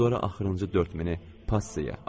Sonra axırıncı 4000-i passiyaya atdım.